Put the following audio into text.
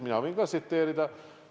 Mina võin ka tsiteerida.